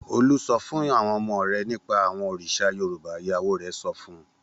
Olú sọ fún àwọn ọmọ rẹ̀ nípa àwọn òrìṣà Yorùbá! Ìyàwó rẹ̀ sọ fún un.